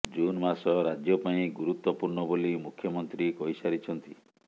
June ମାସ ରାଜ୍ୟ ପାଇଁ ଗୁରୁତ୍ୱପୂର୍ଣ୍ଣ ବୋଲି ମୁଖ୍ୟମନ୍ତ୍ରୀ କହିସାରିଛନ୍ତି